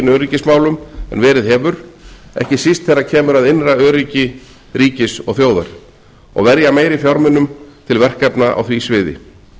öryggismálum en verið hefur ekki síst þegar kemur að innra öryggi ríkis og þjóðar og verja meiri fjármunum til verkefna á því sviði